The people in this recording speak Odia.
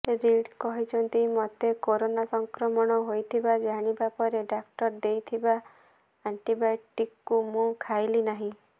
ରିଡ୍ କହିଛନ୍ତି ମୋତେ କରୋନା ସଂକ୍ରମଣ ହୋଇଥିବା ଜାଣିବା ପରେ ଡାକ୍ତର ଦେଇଥିବା ଆଣ୍ଟିବାୟୋଟିକ୍କୁ ମୁଁ ଖାଇଲି ନାହିଁ